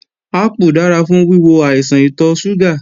Ápù dára fún wíwo àìsàn ìtọ̀ ṣúgà